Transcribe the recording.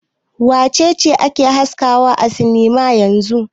Wace ce ake haskawa a sinima yanzun?